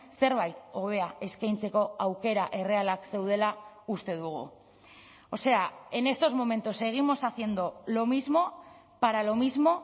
zerbait hobea eskaintzeko aukera errealak zeudela uste dugu o sea en estos momentos seguimos haciendo lo mismo para lo mismo